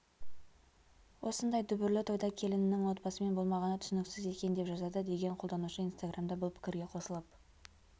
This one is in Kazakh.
осындай дүбірлі тойда келінінің отбасымен болмағаны түсініксіз екен деп жазады деген қолданушы инстаграмда бұл пікірге қосылып